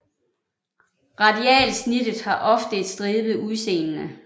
Radialsnittet har ofte et stribet udseende